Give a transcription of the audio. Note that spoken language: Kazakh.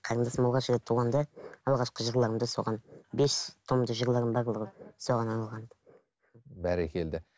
қарындасым алғаш рет туғанда алғашқы жырларымды соған бес томдық жырларым барлығы соған арналған бәрекелді